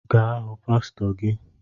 Gaa hụ pastor gị